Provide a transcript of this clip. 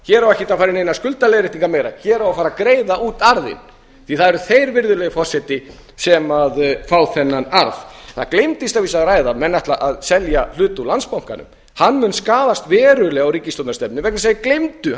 hér á ekki að fara í neinar skuldaleiðréttingar meira hér á að fara að greiða út arðinn því það eru þeir sem fá þennan arð það gleymdist að vísu að ræða að menn ætla að selja hlut úr landsbankanum hann mun skaðast verulega á ríkisstjórnarstefnunni vegna þess að